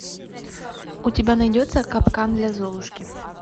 у тебя найдется капкан для золушки